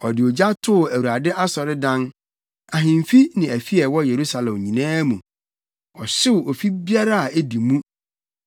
Ɔde ogya too Awurade asɔredan, ahemfi ne afi a ɛwɔ Yerusalem nyinaa mu. Ɔhyew ofi biara a edi mu.